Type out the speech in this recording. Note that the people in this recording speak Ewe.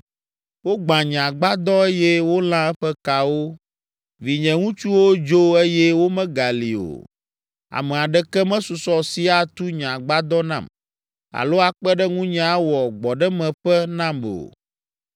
Wogbã nye agbadɔ eye wolã eƒe kawo. Vinye ŋutsuwo dzo eye womegali o. Ame aɖeke mesusɔ si atu nye agbadɔ nam alo akpe ɖe ŋunye awɔ gbɔɖemeƒe nam o.